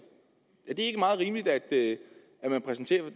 er det ikke meget rimeligt at man præsenteres